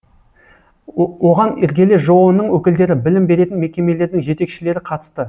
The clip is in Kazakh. оған іргелі жоо ның өкілдері білім беретін мекемелердің жетекшілері қатысты